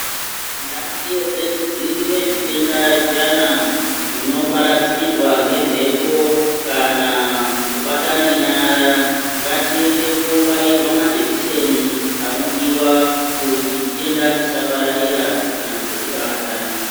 Ngatiedze kudzivirire zvitenda zviyana zvinoparadzirwa ngemhepo kubatane nyara ngatiende kunobairwa majekiseni anodiwa kuti chitenda chisapararira kana kutibata .